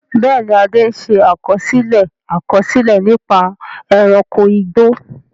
Bẹ́ẹ̀ni, Ade ṣe àkọsílẹ̀ àkọsílẹ̀ nípa ẹranko igbó.